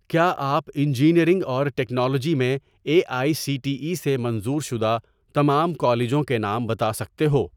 کیا آپ انجینئرنگ اور ٹیکنالوجی میں A I C T E سے منظور شدہ تمام کالجوں کے نام بتا سکتے ہو